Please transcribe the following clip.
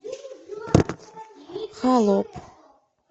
холоп